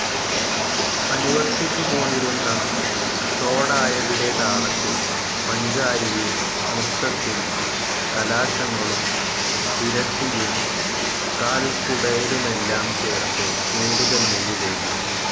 അനുവർത്തിച്ചുപോന്നിരുന്ന തോടായതിലെ താളത്തിൽ പഞ്ചാരിയും നൃത്തത്തിൽ കലാശങ്ങളും ഇരട്ടിയും കാൽകുടയലുമെല്ലാം ചേർത്ത് കൂടുതൽ മിഴിവേകി.